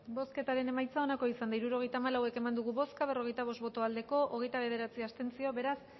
bozketaren emaitza onako izan da hirurogeita hamalau eman dugu bozka berrogeita bost boto aldekoa hogeita bederatzi abstentzio beraz